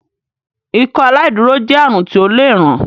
Ikọaláìdúró jé àrùn ti ọ lẹ rán